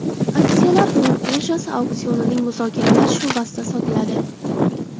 Aksiyalar fond birjasi auksionining muzokaralar sho‘basida sotiladi.